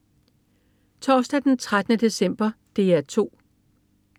Torsdag den 13. december - DR 2: